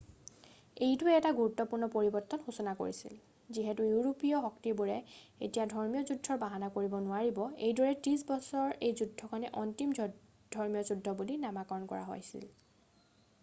এইটোৱে এটা গুৰুত্বপূৰ্ণ পৰিৱৰ্তনৰ সূচনা কৰিছিল যিহেতু ইউৰোপীয় শক্তিবোৰে এতিয়া ধৰ্মীয় যুদ্ধৰ বাহানা কৰিব নোৱাৰিব এইদৰে ত্ৰিশ বছৰৰ এই যুদ্ধখনেই অন্তিমখন ধৰ্মীয় যুদ্ধ বুলি নামাকৰণ কৰা হৈছিল